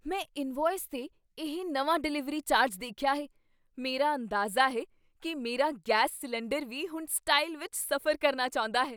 ਮੈਂ ਇਨਵੌਇਸ 'ਤੇ ਇਹ ਨਵਾਂ ਡਿਲੀਵਰੀ ਚਾਰਜ ਦੇਖਿਆ ਹੈ। ਮੇਰਾ ਅੰਦਾਜ਼ਾ ਹੈ ਕੀ ਮੇਰਾ ਗੈਸ ਸਿਲੰਡਰ ਵੀ ਹੁਣ ਸਟਾਈਲ ਵਿੱਚ ਸਫ਼ਰ ਕਰਨਾ ਚਾਹੁੰਦਾ ਹੈ!